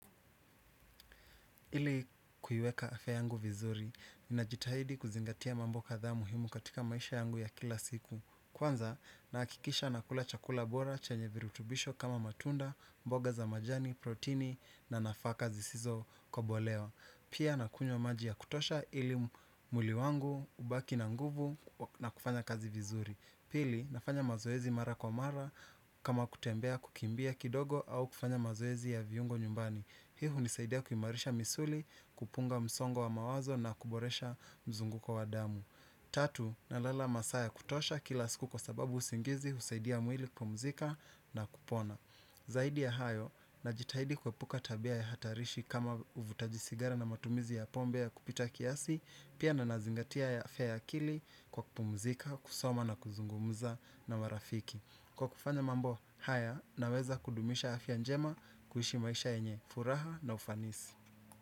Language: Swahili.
Ili kuiweka afya yangu vizuri, ninajitahidi kuzingatia mambo kadhaa muhimu katika maisha yangu ya kila siku. Kwanza, nahakikisha nakula chakula bora, chenye virutubisho kama matunda, mboga za majani, protini na nafaka zisizo kobolewa. Pia nakunywa maji ya kutosha ili mwili wangu, ubaki na nguvu na kufanya kazi vizuri. Pili, nafanya mazoezi mara kwa mara kama kutembea kukimbia kidogo au kufanya mazoezi ya viungo nyumbani. Hii hunisaidia kuimarisha misuli, kupunga msongo wa mawazo na kuboresha mzunguko wa damu. Tatu, na ala masaa ya kutosha kila siku kwa sababu usingizi husaidia mwili kupumzika na kupona. Zaidi ya hayo, najitahidi kuepuka tabia ya hatarishi kama uvutaji sigara na matumizi ya pombe ya kupita kiasi, pia na nazingatia afya ya akili kwa kupumzika, kusoma na kuzungumza na marafiki. Kwa kufanya mambo, haya naweza kudumisha afya njema kuishi maisha yenye, furaha na ufanisi.